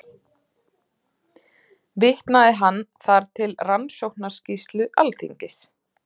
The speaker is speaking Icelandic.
Vitnaði hann þar til Rannsóknarskýrslu Alþingis